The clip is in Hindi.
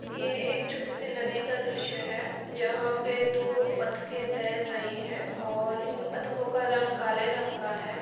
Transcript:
ये एक छोटी सी नदी का दृश्य है| जहाँ पे दो बत्तखे तैर रही हैं और इन बत्तखो का रंग काले रंग का है।